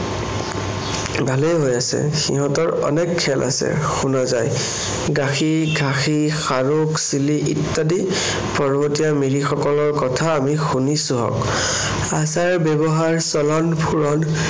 ভালেই হৈ আছে। সিহঁতৰ অনেক খেল আছে শুনা যায়। গাসি, ঘাসি, সাৰোগ, চিলি ইত্যাদি পৰ্বতীয়া মিৰি সকলৰ কথা আমি শুনিছোহঁক। আচাৰ-ব্যৱহাৰ, চলন-ফুৰণ